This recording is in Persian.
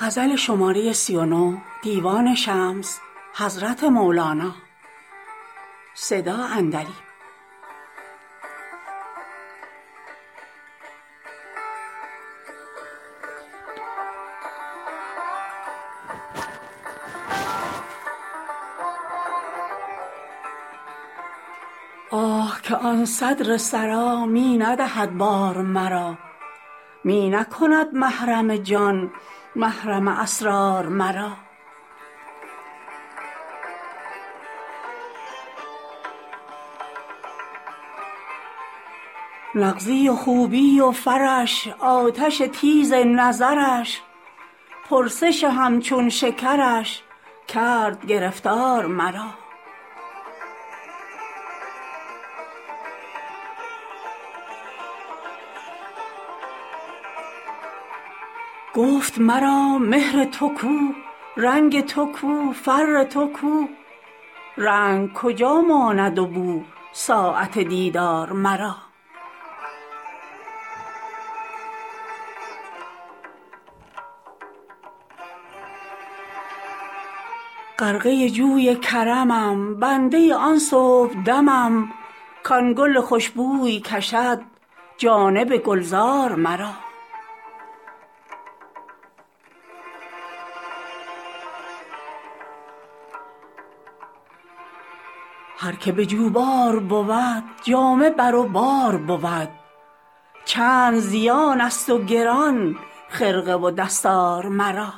آه که آن صدر سرا می ندهد بار مرا می نکند محرم جان محرم اسرار مرا نغزی و خوبی و فرش آتش تیز نظرش پرسش همچون شکرش کرد گرفتار مرا گفت مرا مهر تو کو رنگ تو کو فر تو کو رنگ کجا ماند و بو ساعت دیدار مرا غرقه جوی کرمم بنده آن صبحدمم کان گل خوش بوی کشد جانب گلزار مرا هر که به جوبار بود جامه بر او بار بود چند زیانست و گران خرقه و دستار مرا